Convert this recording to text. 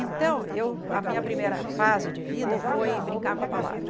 Então, eu a minha primeira fase de vida foi brincar com a palavra.